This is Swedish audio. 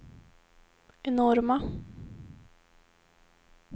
enorma